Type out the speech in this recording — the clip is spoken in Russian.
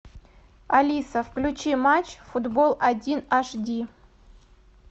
алиса включи матч футбол один аш ди